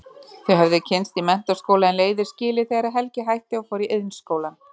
Þau höfðu kynnst í menntaskóla en leiðir skilið þegar Helgi hætti og fór í Iðnskólann.